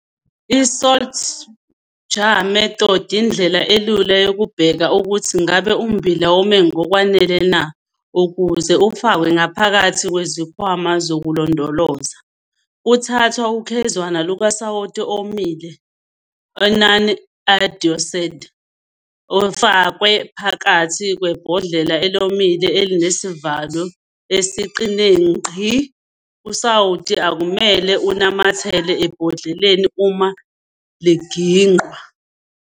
ISalt jar method yindlela elula yokubheka ukuthi ngabe ummbila wome ngokwanele na ukuze ufakwe ngaphakathi kwezikhwama zokulondoloza. Kuthathwa ukhezwana lukasawoti owomile onon-iodised ufakwe ngaphakathi kwebhodlela elomile elinesivalo esiqine ngqi. Usawoti akumele unamathele ebhodleleni uma liginqwa.